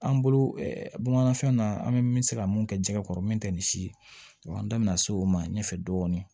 An bolo bamanan fɛn na an bɛ min se ka mun kɛ jɛgɛ kɔrɔ min tɛ nin si ye an da bɛna se o ma ɲɛfɛ dɔɔnin